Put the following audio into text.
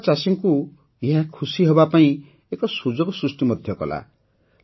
ଏଠାକାର ଚାଷୀଙ୍କୁ ଏହା ଖୁସି ହେବାପାଇଁ ଏକ ସୁଯୋଗ ସୃଷ୍ଟି କରିଛି